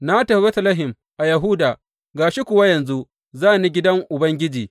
Na tafi Betlehem a Yahuda, ga shi kuwa yanzu za ni gidan Ubangiji.